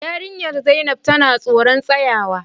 Yarinyar zainab tana tsoron tsayawa.